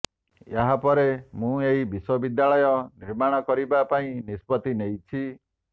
ଏହାପରେ ମୁଁ ଏହି ବିଶ୍ୱବିଦ୍ୟାଳୟ ନିର୍ମାଣ କରିବା ପାଇଁ ନିଷ୍ପତି ନେଇଛି